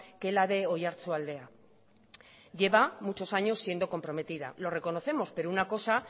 que la de oiartzualdea lleva muchos años siendo comprometida lo reconocemos pero una cosa